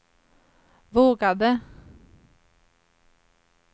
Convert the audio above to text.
vågade